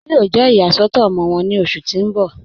Wọn yóò jẹ́ iyàsọ̀tọ̀ ọmọ wọn ní ọṣù tí n bọ̀.